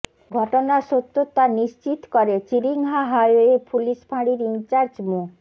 ঘটনার সত্যতা নিশ্চিত করে চিরিংহা হাইওয়ে পুলিশ ফাঁড়ির ইনচার্জ মো